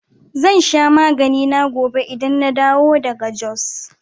Zan sha maganina gobe idan na dawo daga Jos